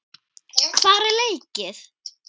Hvar er leikið?